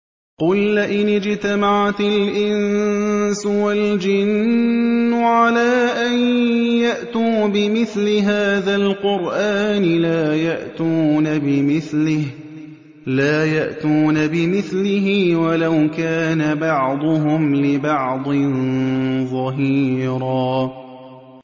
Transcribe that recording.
قُل لَّئِنِ اجْتَمَعَتِ الْإِنسُ وَالْجِنُّ عَلَىٰ أَن يَأْتُوا بِمِثْلِ هَٰذَا الْقُرْآنِ لَا يَأْتُونَ بِمِثْلِهِ وَلَوْ كَانَ بَعْضُهُمْ لِبَعْضٍ ظَهِيرًا